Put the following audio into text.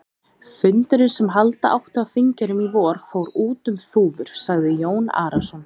Fundurinn sem halda átti á Þingeyrum í vor, fór út um þúfur, sagði Jón Arason.